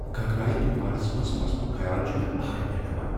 گگرایہ طوفانس منٛز پھسنک خیال چھ مےٚ اہرٕ بیہناوان۔